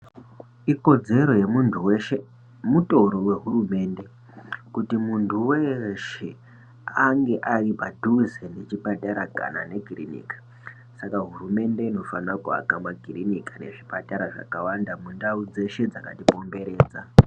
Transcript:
Ikodzero yemunhu weshe, mutoro wehurumende kuti munhu weshe ange ari padhuze nechipatara kana nekiriniki, saka hurumende inofanira kuaka zvipatara makirinika nezvipatara zvakawanda mundau dzeshe dzakatikomberedza.